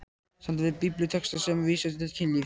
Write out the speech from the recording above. SAMTAL VIÐ BIBLÍUTEXTA SEM VÍSA TIL KYNLÍFS